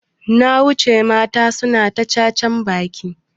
Na wuce naji mata suna cacan baki.